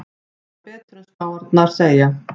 Gera betur en spárnar segja